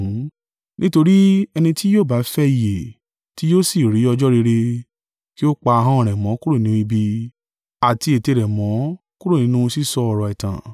Nítorí, “Ẹni tí yóò bá fẹ́ ìyè, ti yóò sì rí ọjọ́ rere, kí o pa ahọ́n rẹ̀ mọ́ kúrò nínú ibi, àti ètè rẹ̀ mọ́ kúrò nínú sísọ ọ̀rọ̀ ẹ̀tàn.